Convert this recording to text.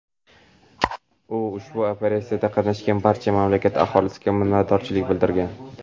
u ushbu operatsiyada qatnashgan barcha mamlakat aholisiga minnatdorchilik bildirgan.